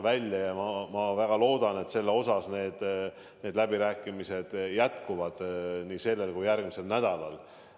Ma väga loodan, et need läbirääkimised jätkuvad nii sellel kui järgmisel nädalal.